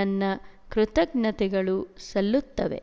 ನನ್ನ ಕೃತಜ್ಞತೆಗಳು ಸಲ್ಲುತ್ತವೆ